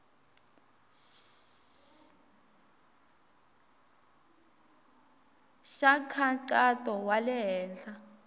xa nkhaqato wa le henhla